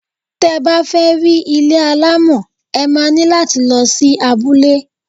Tẹ bá fẹ́ rí ilé alámọ̀, ẹ má ní láti lọ sí abule.